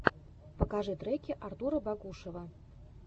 покажи треки артура багушева